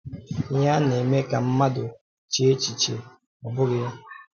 Ihe a na-eme ka mmadụ chee echiche, ọ̀ bụghị ya?